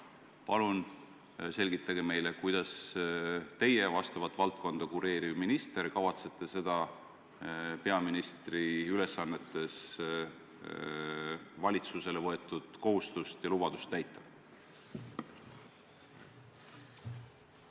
Palun selgitage meile, kuidas teie, seda valdkonda kureeriv minister, kavatsete seda peaministri ülesannetes esinenud ministri valitsusele võetud kohustust ja lubadust täita?